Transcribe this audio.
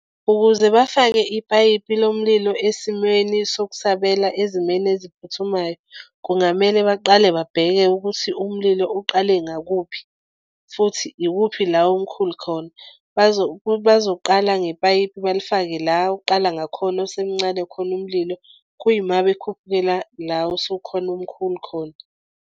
Ukuze bafake ipayipi lomlilo esimeni sokusabela ezimeni eziphuthumayo, kungamele baqale babheke ukuthi umlilo uqale ngakuphi. Futhi ikuphi la omkhulu khona bazoqala ngepayipi balifake la oqala ngakhona osemncane khona umlilo. Kuyima bekhuphukela la osukhona umkhulu khona.